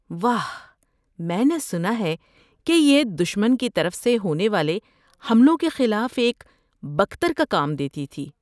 واہ۔ میں نے سنا ہے کہ یہ دشمن کی طرف سے ہونے والے حملوں کے خلاف ایک بکتر کا کام دیتی تھی۔